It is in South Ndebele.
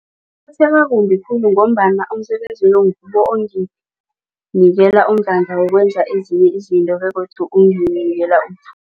kumbi khulu ngombana umsebenzi lo ngiwo onginikela umdlandla wokwenza ezinye izinto begodu unginikela